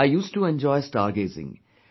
I used to enjoy stargazing